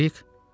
Krebrik?